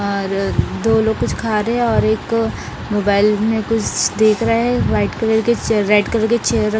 और दो लोग कुछ खा रहे हैं और एक मोबाइल में कुछ देख रहा हैं वाइट कलर की रेड कलर की चेयर --